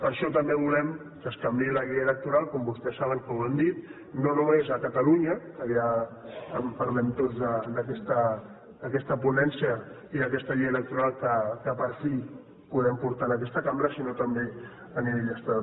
per això també volem que es canviï la llei electoral com vostès saben que ho hem dit no només a catalunya que ja en parlem tots d’aquesta ponència i d’aquesta llei electoral que per fi podem portar a aquesta cambra sinó també a nivell estatal